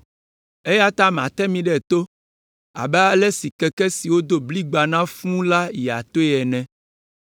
“Eya ta mate mi ɖe to abe ale si keke si wodo bligba na fũu la yia toe ene.